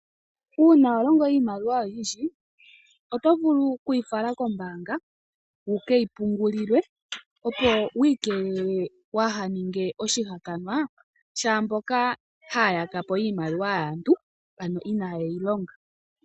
Uuna wa longo iimaliwa oyindji oto vulu okuyi fala kombaanga wu keyi pungulilwe, opo wu ikelele wahaninge oshihakanwa shaamboka haya ya ka po iimaliwa yaantu ano inaaye yi longa.